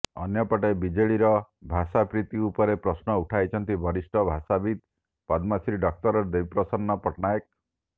ଅନ୍ୟପଟେ ବିଜେଡିର ଭାଷାପ୍ରୀତି ଉପରେ ପ୍ରଶ୍ନ ଉଠାଇଛନ୍ତି ବରିଷ୍ଠ ଭାଷାବିତ୍ ପଦ୍ମଶ୍ରୀ ଡକ୍ଟର ଦେବୀ ପ୍ରସନ୍ନ ପଟ୍ଟନାୟକ